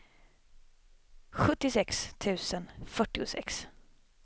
sjuttiosex tusen fyrtiosex